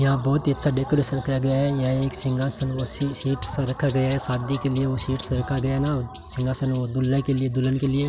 यहाँ बहुत ही अच्छा डेकोरेशन करा गया है यहाँ एक सिंघासन व सीट सा एक सा रखा गया है शादी के लिए वह सीट सा रखा गया है ना सिंघासन वो दुल्हे के लिए दुल्हन के लिए --